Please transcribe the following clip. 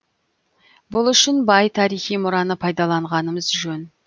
бұл үшін бай тарихи мұраны пайдаланғанымыз жөн